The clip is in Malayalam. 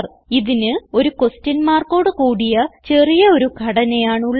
ഇതിന് ഒരു ക്വെഷൻ മാർക്കോട് കൂടിയ ചെറിയ ഒരു ഘടനയാണ് ഉള്ളത്